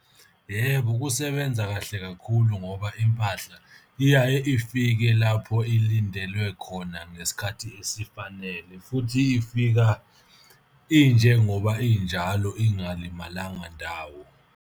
Yebo, ukusebenza kahle kakhulu ngoba impahla iyaye ifike lapho ilindelwe khona ngesikhathi esifanele, futhi ifika injengoba injalo ingalimalanga ndawo.